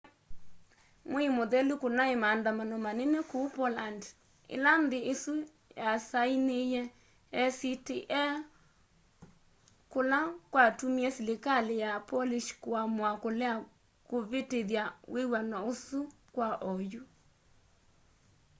mwei muthelu kunai maandamano manene kuu poland ila nthi isu yasainiie acta kula kwatumie silikali ya polish kuamua kulea kuvitithya wiw'ano usu kwa oyu